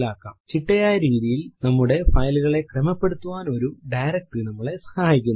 ചിട്ടയായ രീതിയിൽ നമ്മുടെ file കളെ ക്രമപ്പെടുത്താൻ ഒരു ഡയറക്ടറി നമ്മളെ സഹായിക്കുന്നു